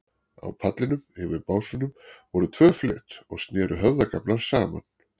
Á pallinum, yfir básunum, voru tvö flet og sneru höfðagaflar saman.